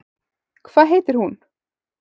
Hvað heitir hún?